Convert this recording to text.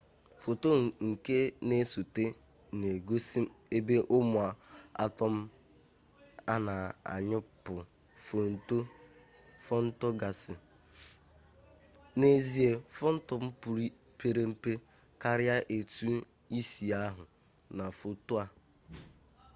foto nke na-esote na-egosie ebe ụmụ atọm a na-anyụpụ fotọn gasị n'ezie fotọn pere mpe karịa etu i si ahụ na foto a